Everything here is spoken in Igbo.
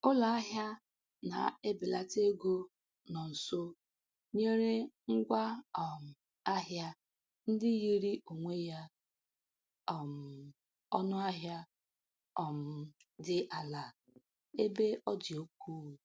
Ụlọahịa na-ebelata ego nọ nso nyere ngwa um ahịa ndị yiri onwe ya um ọnụahịa um dị ala ebe ọ dị ukwuu.